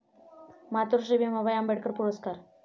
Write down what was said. मातोश्री भीमाबाई आंबेडकर पुरस्कार